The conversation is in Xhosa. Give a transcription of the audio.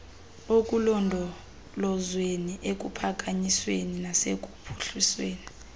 ekulondolozweni ekuphakanyisweni nasekuphuhlisweni